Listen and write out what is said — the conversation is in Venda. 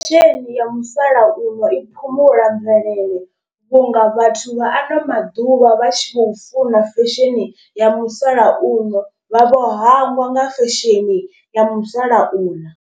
Fesheni ya musalauno i phumula mvelele vhunga vhathu vha ano maḓuvha vha tshi khou funa fesheni ya musalauno. Vha vho hangwa nga fesheni ya musalauḽa.